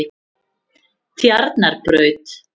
Tjarnarbraut